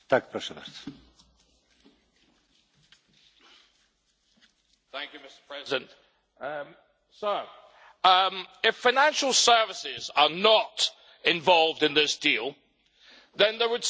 If financial services are not involved in this deal, then there would seem to me to be very little point in actually having a deal, because you sell more to us than we buy from you.